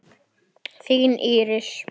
Þín Íris.